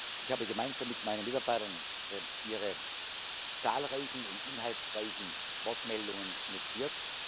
Ich habe gemeinsam mit meinen Mitarbeitern Ihre zahlreichen und inhaltsreichen Wortmeldungen notiert.